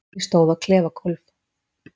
Ég stóð á klefagólf